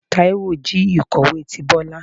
Taíwo jí ikọwe tí Bọla